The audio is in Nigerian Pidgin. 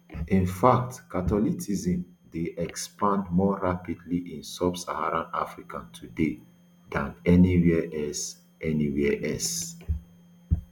in fact catholicism dey expand more rapidly in subsaharan africa today dan anywhere else anywhere else